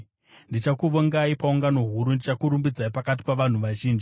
Ndichakuvongai paungano huru; ndichakurumbidzai pakati pavanhu vazhinji.